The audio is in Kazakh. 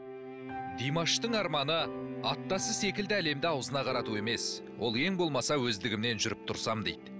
димаштың арманы аттасы секілді әлемді аузына қарату емес ол ең болмаса өздігімнен жүріп тұрсам дейді